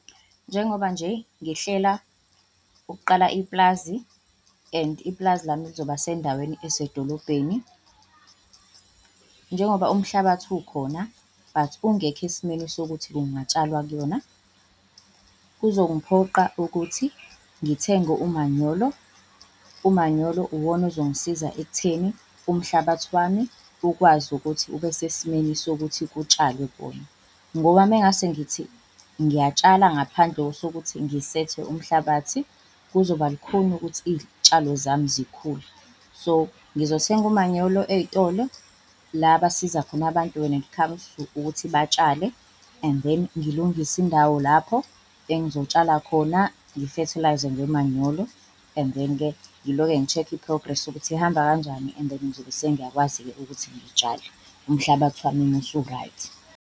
Njengoba nje ngihlela ukuqala ipulazi and ipulazi lami lizoba sendaweni esedolobheni. Njengoba umhlabathi ukhona but ungekho esimweni sokuthi kungatshalwa kuyona, kuzongiphoqa ukuthi ngithenge umanyolo. Umanyolo uwona ozongisiza ekutheni umhlabathi wami ukwazi ukuthi ube sesimeni sokuthi kutshalwe kuwona. Ngoba uma ngingase ngithi ngiyatshala ngaphandle kosokuthi ngisethe umhlabathi, kuzokuba lukhuni ukuthi iy'tshalo zami zikhule. So ngizothenga umanyolo ey'tolo, la abasiza khona abantu when it comes to ukuthi batshale and then ngilungise indawo lapho engizotshala khona ngifethilayize ngomanyolo. And then-ke ngiloke ngi-check-a i-progress ukuthi ihamba kanjani, and then ngizobe sengiyakwazi-ke ukuthi ngitshale umhlabathi wami uma usu-right.